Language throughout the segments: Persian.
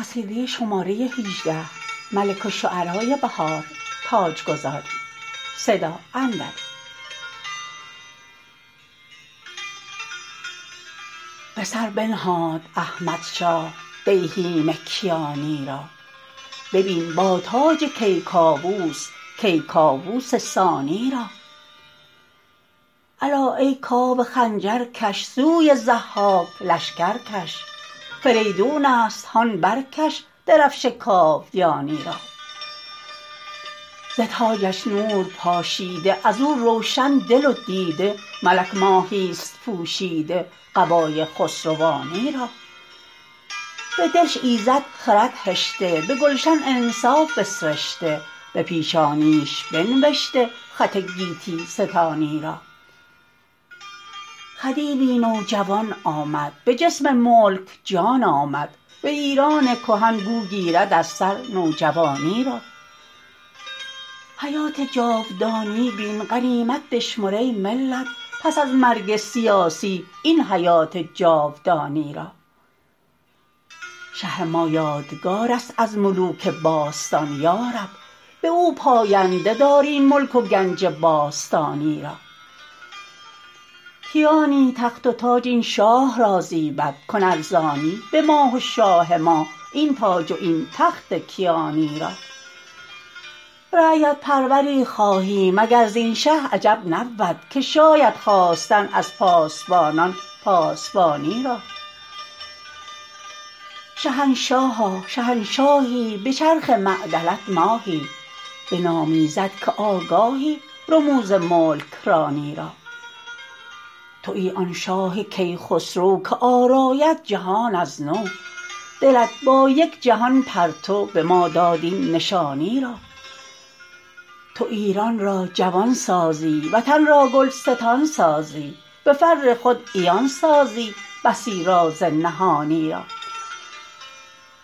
به سر بنهاد احمدشاه دیهیم کیانی را ببین با تاج کیکاوس کیکاوس ثانی را الا ای کاوه خنجر کش سوی ضحاک لشکر کش فریدون است هان برکش درفش کاویانی را ز تاجش نور پاشیده از او روشن دل و دیده ملک ماهی است پوشیده قبای خسروانی را به دلش ایزد خرد هشته به گلش انصاف بسرشته به پیشانیش بنوشته خط گیتی ستانی را خدیوی نوجوان آمد به جسم ملک جان آمد به ایران کهن گو گیرد از سر نوجوانی را حیات جاودانی بین غنیمت بشمر ای ملت پس از مرگ سیاسی این حیات جاودانی را شه ما یادگار است از ملوک باستان یارب به او پاینده دار این ملک و گنج باستانی را کیانی تخت وتاج این شاه را زیبد کن ارزانی به ما و شاه ما این تاج و این تخت کیانی را رعیت پروری خواهیم اگر زین شه عجب نبود که شاید خواستن از پاسبانان پاسبانی را شهنشاها شهنشاهی به چرخ معدلت ماهی به نام ایزد که آگاهی رموز ملک رانی را تویی آن شاه کیخسرو که آراید جهان از نو دلت با یک جهان پرتو به ما داد این نشانی را تو ایران را جوان سازی وطن را گلستان سازی به فر خود عیان سازی بسی راز نهانی را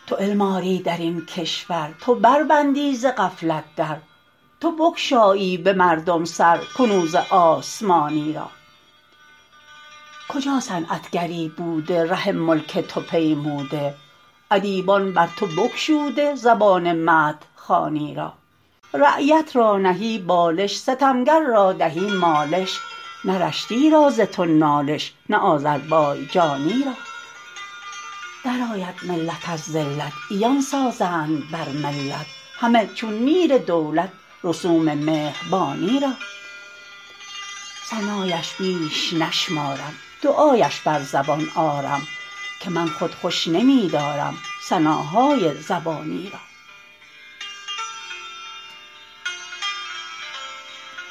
توعلم آری در این کشور تو بربندی ز غفلت در تو بگشایی به مردم سر کنوز آسمانی را کجا صنعتگری بوده ره ملک تو پیموده ادیبان بر تو بگشوده زبان مدح خوانی را رعیت را نهی بالش ستمگر را دهی مالش نه رشتی را ز تو نالش نه آذربایجانی را درآید ملت از ذلت عیان سازند بر ملت همه چون نیر دولت رسوم مهربانی را ثنایش بیش نشمارم دعایش بر زبان آرم که من خود خوش نمی دارم ثناهای زبانی را